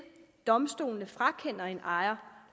domstolene frakender en ejer